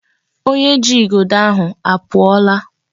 Onye ji igodo ahụ apụọla.